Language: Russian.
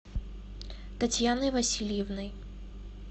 татьяной васильевной